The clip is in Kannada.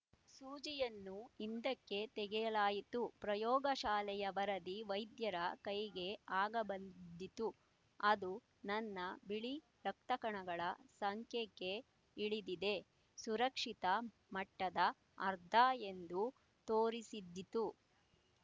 ಸೂಜಿಯನ್ನು ಹಿಂದಕ್ಕೆ ತೆಗೆಯಲಾಯಿತು ಪ್ರಯೋಗಶಾಲೆಯ ವರದಿ ವೈದ್ಯರ ಕೈಗೆ ಆಗ ಬಂದಿದ್ದಿತು ಅದು ನನ್ನ ಬಿಳಿ ರಕ್ತಕಣಗಳ ಸಂಖ್ಯೆ ಕ್ಕೆ ಇಳಿದಿದೆ ಸುರಕ್ಷಿತ ಮಟ್ಟದ ಅರ್ಧ ಯೆಂದು ತೋರಿಸಿದ್ದಿತು